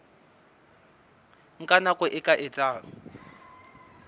nka nako e ka etsang